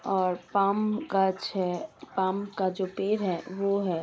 और पाम कज है। पाम का जो पे है वो है --